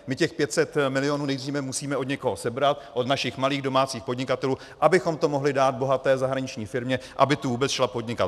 My těch 500 milionů nejdříve musíme od někoho sebrat, od našich malých domácích podnikatelů, abychom to mohli dát bohaté zahraniční firmě, aby sem vůbec šla podnikat.